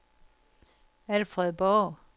Alfred Borg